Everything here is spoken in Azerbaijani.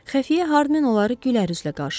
Xəfiyə Harmen onları gülərüzlə qarşıladı.